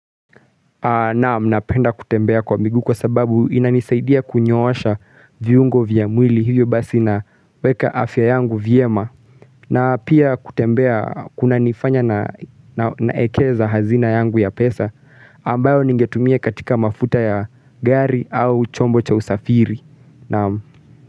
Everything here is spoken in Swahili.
Naam, napenda kutembea kwa miguu kwa sababu inanisaidia kunyoosha viungo vya mwili hivyo basi na weka afya yangu vyema na pia kutembea kunanifanya naekeza hazina yangu ya pesa ambayo ningetumia katika mafuta ya gari au chombo cha usafiri. Naam.